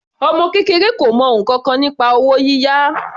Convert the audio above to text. Ọmọ kékeré kò mọ ǹkankan nípa owó yíyá.